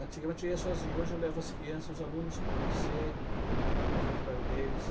Antigamente eu ia sozinho, hoje eu levo as crianças, os alunos para conhecer, para ver o trabalho deles.